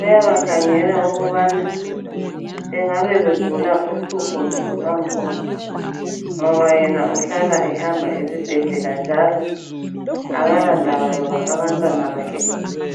uyabakhangela ukubana bengabe begula uhlupho luphi lwangkhona ngoba yena uhlala ehamba esibhedlela njalo akala ndaba loba abantwana bakhe begula.